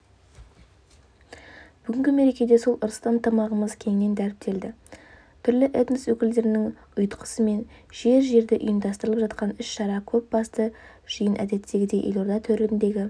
бүгінгі мерекеде сол ырысты ынтымағымыз кеңінен дәріптелді түрлі этнос өкілдерінің ұйытқысымен жер-жерде ұйымдастырылып жатқан іс-шара көп басты жиын әдеттегідей елорда төріндегі